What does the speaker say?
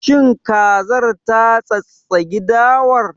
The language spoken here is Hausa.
Shin kazar ta tsattsagi dawar?